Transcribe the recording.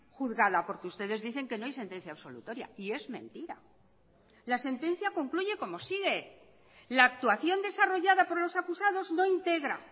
juzgada porque ustedes dicen que no hay sentencia absolutoria y es mentira la sentencia concluye como sigue la actuación desarrollada por los acusados no integra